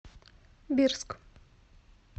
бирск